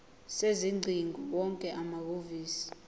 sezingcingo wonke amahhovisi